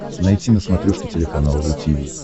найти на смотрешке телеканал ру ти ви